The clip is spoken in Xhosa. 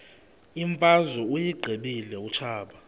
imfazwe uyiqibile utshaba